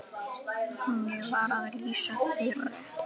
Á meðan stytti upp.